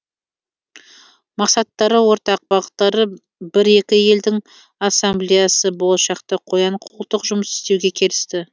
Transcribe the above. мақсаттары ортақ бағыттары бір екі елдің ассамблеясы болашақта қоян қолтық жұмыс істеуге келісті